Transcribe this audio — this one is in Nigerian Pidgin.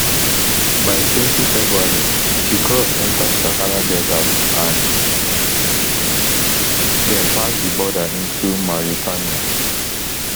by twenty february she cross enta sahara desert and den pass di border into mauritania